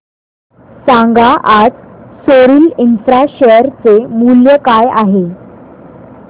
सांगा आज सोरिल इंफ्रा शेअर चे मूल्य काय आहे